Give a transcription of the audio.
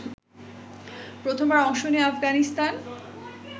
প্রথমবার অংশ নেয়া আফগানিস্তান